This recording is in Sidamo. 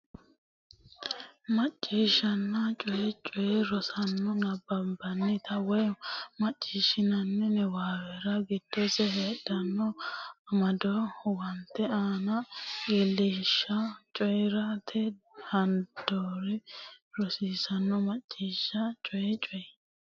Macciishshanna Coyi Coyi Rosaano nabbanbannita woy macciishshinanni niwaawera giddose heedhanno amado huwatate aana illachishshe coyi rate dandoo rosiisidhanno Macciishshanna Coyi Coyi.